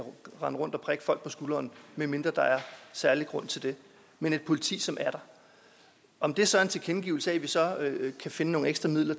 rende rundt og prikke folk på skulderen medmindre der er særlig grund til det men et politi som er der om det så er en tilkendegivelse af at vi så kan finde nogle ekstra midler